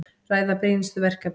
Ræða brýnustu verkefnin